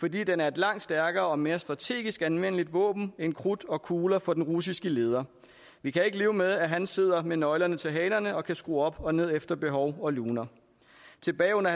fordi den er en langt stærkere og mere strategisk anvendeligt våben end krudt og kugler for den russiske leder vi kan ikke leve med at han sidder med nøglerne til hanerne og kan skrue op og ned efter behov og luner tilbage under